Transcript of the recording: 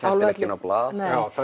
á blað